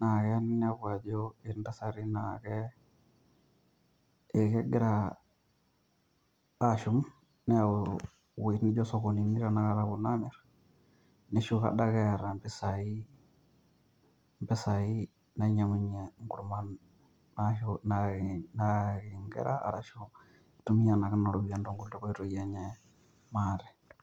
naa keya ninepu ajo kitii intasati naakegira aashum neeu wuegitin naaijio sokonini tanakata aamirr neshuko adake eeta empisai naa nyiang'unyie ingurman aashu naake ingera arashu itumiya naake nena ropiyiani tonkoitoi enye maate.